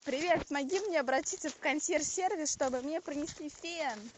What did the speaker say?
привет помоги мне обратиться в консьерж сервис чтобы мне принесли фен